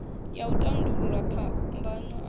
ya u tandulula phambano i